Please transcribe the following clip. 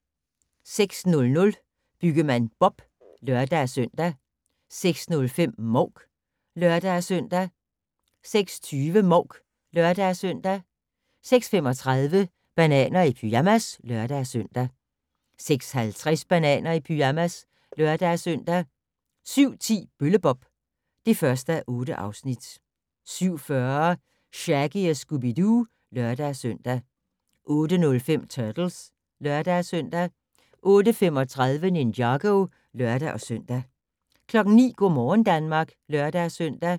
06:00: Byggemand Bob (lør-søn) 06:05: Mouk (lør-søn) 06:20: Mouk (lør-søn) 06:35: Bananer i pyjamas (lør-søn) 06:50: Bananer i pyjamas (lør-søn) 07:10: Bølle-Bob (1:8) 07:40: Shaggy & Scooby-Doo (lør-søn) 08:05: Turtles (lør-søn) 08:35: Ninjago (lør-søn) 09:00: Go' morgen Danmark (lør-søn)